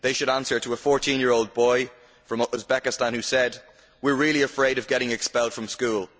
They should answer to a 14 year old boy from Uzbekistan who said We're really afraid of getting expelled from school.